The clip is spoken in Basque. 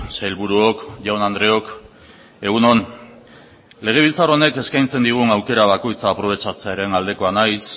sailburuok jaun andreok egun on legebiltzar honek eskaintzen digun aukera bakoitza aprobetxatzearen aldekoa naiz